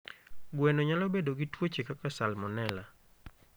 Gweno nyalo bedo gi tuoche kaka salmonella.